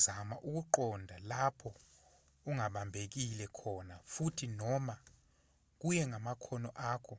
zama ukuqonda lapho ungabambekile khona futhi noma kuye ngamakhono akho